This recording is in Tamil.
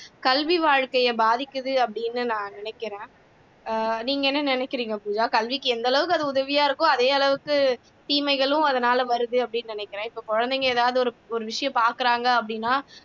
கல்வி வாழ்க்கையை பாதிக்குது அப்படின்னு நான் நினைக்கிறேன் அஹ் நீங்க என்ன நினைக்கிறீங்க பூஜா கல்விக்கு எந்த அளவுக்கு அது உதவியா இருக்கோ அதே அளவுக்கு தீமைகளும் அதனால வருது அப்படின்னு நினைக்கிறேன் இப்ப குழந்தைங்க எதாவது ஒரு விஷயம் பார்க்கிறாங்க அப்படின்னா